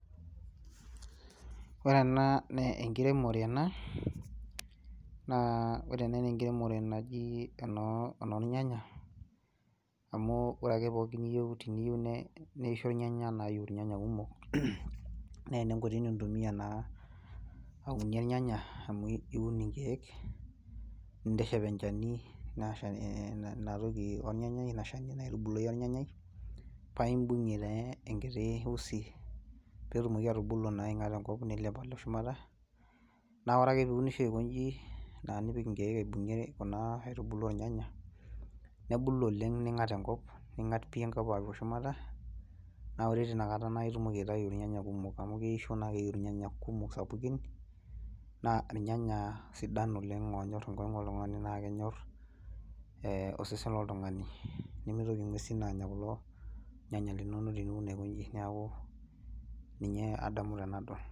Ore ena naa enkiremore ena naa naji enornyanya, amu ore ake pookin niyieu, teniyieu, neisho irnyanya naa ayiu irnyanya kumok, naa ena enkoitoi nintumia naa aunie irnyanya, amu iun inkeek ninteshep enchani Ina toki, ornyanyai, Ina Shani naitbulunyeki or nyanyai, paa Ibungie taa enkiti usi pee etumoki atubulu naa te nkop nilep Ako shumata naa ore ake pee iunisho aikoji naa nipiki nkeek aitubulu irnyanya nebulu oleng., ningata enkop pii alo shumata, naa ore tnina kata naa itumoki aitayu irnyanya kumok amu keisho naa keyieu irnyanya kumok sapukin naa irnyanya sidan oleng. Oonyor enkongu oltungani naa kenyor osesen loltungani neeku ninye adamu tenadol.